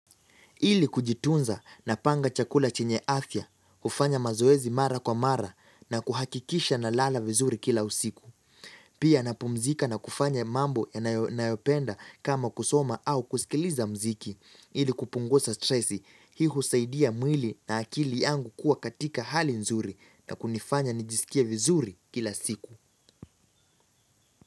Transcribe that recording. Ili kujitunza napanga chakula chenye afya, kufanya mazoezi mara kwa mara na kuhakikisha nalala vizuri kila usiku. Pia napumzika na kufanya mambo nayopenda kama kusoma au kusikiliza mziki. Ili kupunguza stresi, hii husaidia mwili na akili yangu kuwa katika hali nzuri na kunifanya nijisikie vizuri kila siku.